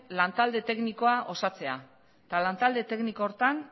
lantalde teknikoa osatzea eta lantalde tekniko horretan